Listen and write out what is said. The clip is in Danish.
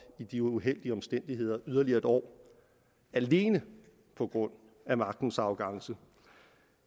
i de uheldige omstændigheder yderligere et år alene på grund af magtens arrogance